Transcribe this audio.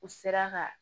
U sera ka